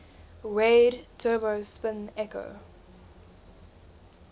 weighted turbo spin echo